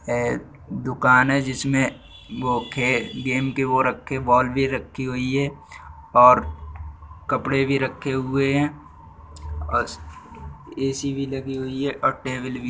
है एक दुकान है जिसमे गेम के वो रखे बॉल भी रखी हुई है और कपड़े भी रखे हुए हैं और एसी भी लगी हुई है और टेबल भी।